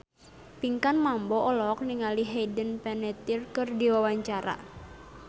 Pinkan Mambo olohok ningali Hayden Panettiere keur diwawancara